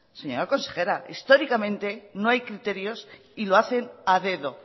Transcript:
señora consejera históricamente no hay criterios y lo hacen a dedo